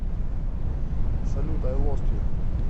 салют ай лост ю